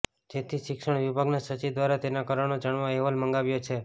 જેથી શિક્ષણ વિભાગના સચિવ દ્વારા તેના કારણો જાણવા અહેવાલ મંગાવાયો છે